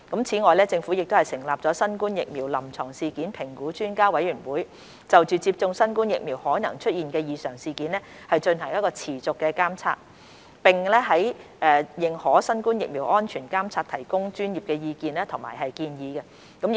此外，政府成立新冠疫苗臨床事件評估專家委員會，就接種新冠疫苗可能出現的異常事件進行持續監察，並在認可新冠疫苗的安全監察提供專業意見和建議。